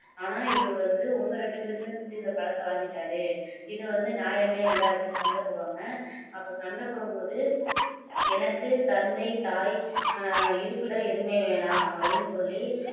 ஆனா இவரு வந்து உங்க ரெண்டு பேரையுமே சுத்தி இந்த பழத்தை வாங்கிட்டாரு இது வந்து நியாயமே இல்லை அப்படின்னு சண்டை போடுவாங்க அப்போ சண்டை போடும் போது எனக்கு தந்தை தாய் இருப்பிடம் எதுவுமே வேண்டாம் அப்படின்னு சொல்லி